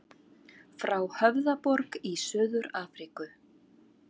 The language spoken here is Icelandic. Frá Höfðaborg í Suður-Afríku.